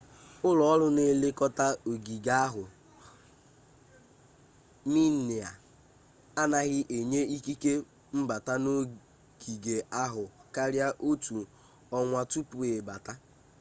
ụlọọrụ na-elekọta ogige ahụ minae anaghị enye ikike mbata n'ogige ahụ karia otu ọnwa tupu ịbata